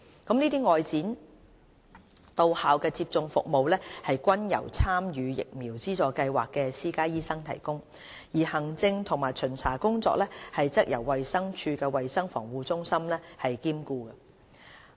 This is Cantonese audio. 這些外展到校接種服務均由參與疫苗資助計劃的私家醫生提供，而行政及巡查工作則由衞生署衞生防護中心兼顧。